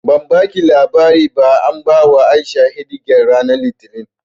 Ke ban baki labari ba an bawa A'isha shidi gal ranar Litinin